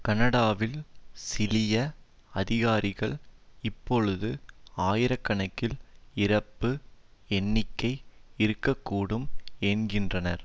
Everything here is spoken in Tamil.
கனடாவில் சிலிய அதிகாரிகள் இப்பொழுது ஆயிர கணக்கில் இறப்பு எண்ணிக்கை இருக்க கூடும் என்கின்றனர்